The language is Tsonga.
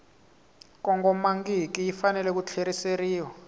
kongomangiki yi fanele ku tlheriseriwa